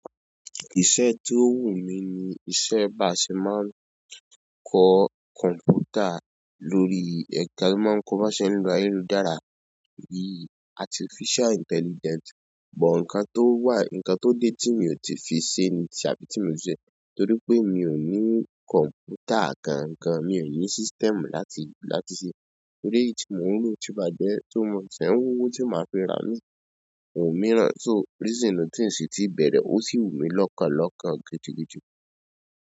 Iṣẹ́ tí ó wù mí ni iṣẹ́ báṣẹ́ máa ń kọ kọ̀ǹpútà lórí ẹ̀ka bí wọ́n bá ṣe ń lọ ayélujára, yìí artificial intelligence. But nkàn tó wà, ǹkan tó dé tí mi ò tí fi se ní tàbí tí mi ò se, torí pé mi ò ní kọ̀ǹpútà kankan, mi ò ní system láti, láti se. Torí èyí tí mò ń lò tí bájẹ́ tó mọ̀, ṣiń w'owó tí màá fi ra imii, mi òmíràn. So reason nuu tí n ṣe ti bẹ̀rẹ̀ ó sì wù mí lọ́kàn lọ́kàn gidi gidi.